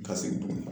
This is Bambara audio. Ka segin tuguni